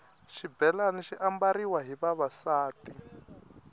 xibhelani xi ambariwa hi vavasati